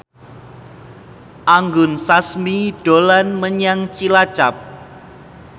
Anggun Sasmi dolan menyang Cilacap